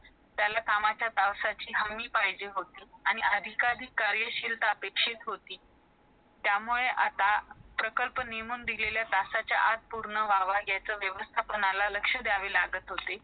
कुणाची तरी माहिती व्हायची आणि त्याच्या स्थितीबद्दल विचारू शकता.